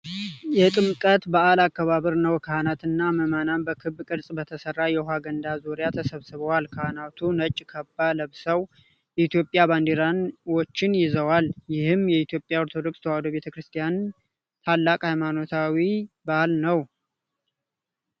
የጥምቀት በዓል አከባበር ነው ። ካህናትና ምዕመናን በክብ ቅርጽ በተሠራ የውሃ ገንዳ ዙሪያ ተሰብስበዋል። ካህናቱ ነጭ ካባ ለብሰው የኢትዮጵያ ባንዲራዎችን ይዘዋል። ይህም የኢትዮጵያ ኦርቶዶክስ ተዋሕዶ ቤተክርስቲያን ታላቅ ሃይማኖታዊ በዓል ነው ።